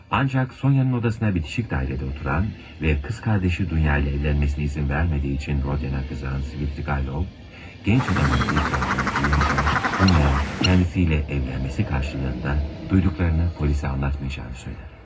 Ancaq Sonyanın odasına bitişik dairədə oturan və qız qardaşı Dunya ilə evlənməsinə izin vermədiyi üçün Rodyana qızaqan Svidriqaylov, gənc adamın etirafını duyunca, Dunyaya özü ilə evlənməsi qarşılığında duyduqlarını polisə anlatmayacağını söylər.